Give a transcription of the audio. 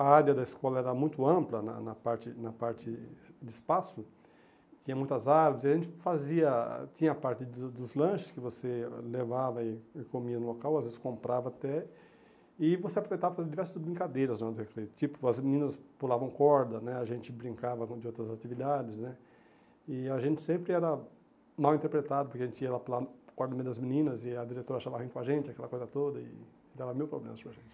a área da escola era muito ampla, na na parte na parte de espaço, tinha muitas árvores, e a gente fazia, tinha a parte do dos lanches que você levava e e comia no local, às vezes comprava até, e você aproveitava para fazer diversas brincadeiras no recreio, tipo, as meninas pulavam corda né, a gente brincava de outras atividades né, e a gente sempre era mal interpretado, porque a gente ia lá para o das meninas e a diretora chamava a gente, aquela coisa toda, e dava mil problemas para a gente.